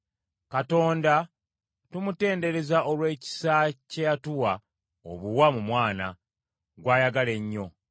Katonda tumutendereze olw’ekisa kye yatuwa obuwa mu Mwana, gw’ayagala ennyo.